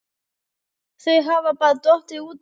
Þau hafa bara dottið út af